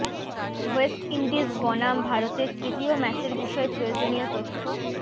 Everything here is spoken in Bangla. ওয়েস্ট ইন্ডিজ বনাম ভারতের তৃতীয় ম্যাচের বিষয় প্রয়োজনীয় তথ্য